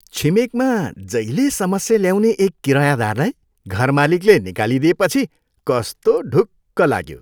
छिमेकमा जहिले समस्या ल्याउने एक किरयादारलाई घरमालिकले निकालिदिएपछि कस्तो ढुक्क लाग्यो।